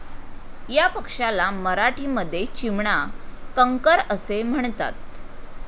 या पक्षाला मराठीमध्ये चिमणा कंकर असे म्हणतात.